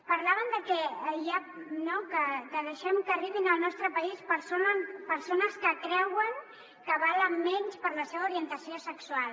parlaven de que deixem que arribin al nostre país persones que creuen que valen menys per la seva orientació sexual